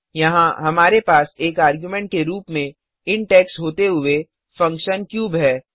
यहाँ हमारे पास एक आर्गुमेंट के रूप में इंट एक्स होते हुएफंक्शन क्यूब है